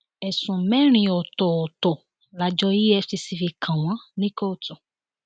ẹsùn mẹrin ọtọọtọ làjọ efcc fi kàn wọn ní kóòtù